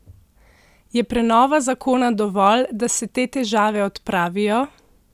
Je prenova zakona dovolj, da se te težave odpravijo?